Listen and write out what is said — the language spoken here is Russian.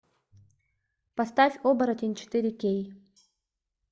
поставь оборотень четыре кей